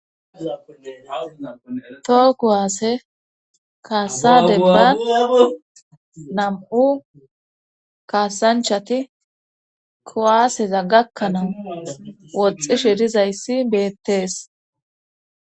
toho kuwaasse kaasadeba nam7u kaasanchati kuwaaseza gakkanawu woxxi shirizayssi beettees.